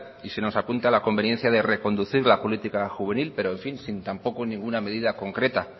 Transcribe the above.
y se nos apunta a la conveniencia de reconducir la política juvenil pero en fin sin ninguna medida concreta